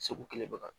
Segu kelen bɔ kan